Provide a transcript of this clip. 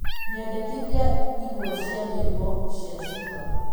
nyendekithia ĩmwe cĩa nyĩmbo cĩa cuma